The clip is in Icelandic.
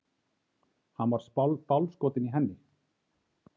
Hann var bálskotinn í henni.